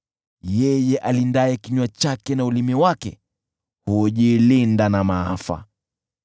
Yeye alindaye kinywa chake na ulimi wake hujilinda na maafa.